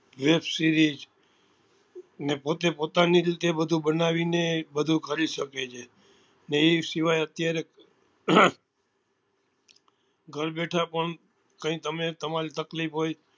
Web series ને પોતે પોતાની રીતે બધું બનાવી ને બધું કરી શકે છે ને એ સિવાય અત્યારે ઘર બેઠા પણ કઈ તમે તમારી તકલીફ હોય